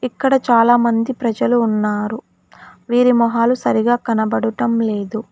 ఇక్కడ చాలామంది ప్రజలు ఉన్నారు వీరి మొహాలు సరిగా కనబడుటం లేదు.